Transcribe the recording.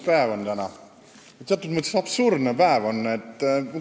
Täna on päris lõbus päev, teatud mõttes absurdne päev.